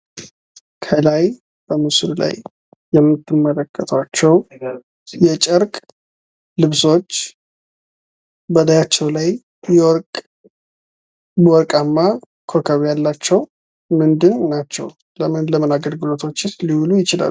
ከላይ በምስሉ ላይ የምትመለከቷቸው የጨርቅ ልብሶች በላያቸው ላይ ወርቃማ ኮከብ ያላቸው ምንድን ናቸው ለምን ለምን አገልግሎቶችስ ሊውሉ ይችላሉ?